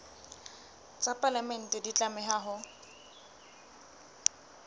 tsa palamente di tlameha ho